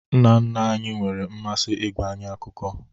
Nna nna anyị nwere mmasị ịgwa anyị akụkọ